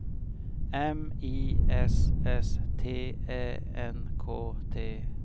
M I S S T Ä N K T